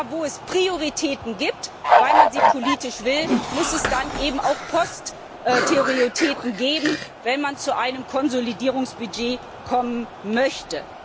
Wenn es Prioritäten gibt, weil man sie politisch will, muss es auch Posterioritäten geben, wenn man zu einem Konsolidierungsbudget kommen möchte.